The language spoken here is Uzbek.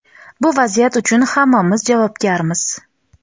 bu vaziyat uchun hammamiz javobgarmiz.